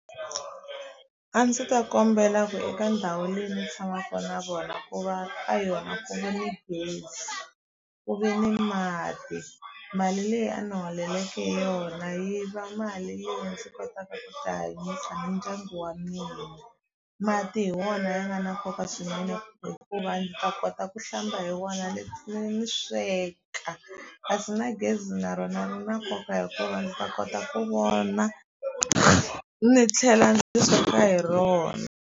A ndzi ta kombela ku eka ndhawu leyi ni tshamaku na vona ku va ka yona ku ve ni gezi ku ve ni mati mali leyi a ni holeleke yona yi va mali leyi ndzi kotaka ku ti hanyisa ni dyangu wa mina mati hi wona ya nga na nkoka swinene hikuva ndzi ta kota ku hlamba hi wona ni tlhela ni sweka kasi na gezi na rona ri na nkoka hikuva ni ta kota ku vona ni tlhela ndzi sweka hi rona.